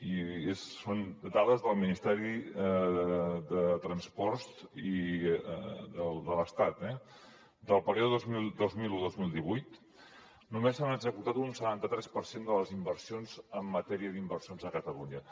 i són dades del ministeri de transports de l’estat del període dos mil un dos mil divuit només s’han executat un setanta tres per cent de les inversions en matèria d’inversions a catalunya